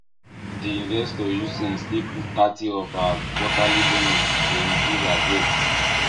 d investor use sense take put thirty of her quarterly bonus to reduce her debt